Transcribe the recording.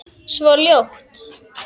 Svo ljótt.